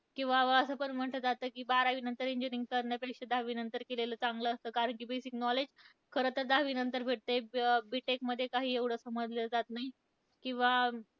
किंवा मग असं पण म्हणलं जातं, की बारावीनंतर engineering करण्यापेक्षा दहावीनंतर केलेलं चांगलं असतं कारण की, basic knowledge खरंतर दहावीनंतर भेटतं, अं B tech मध्ये काही एवढं समजलं जात नाही. किंवा